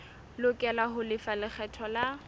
lokela ho lefa lekgetho la